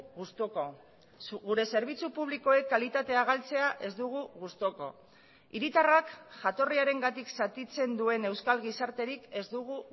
gustuko gure zerbitzu publikoek kalitatea galtzea ez dugu gustuko hiritarrak jatorriarengatik zatitzen duen euskal gizarterik ez dugu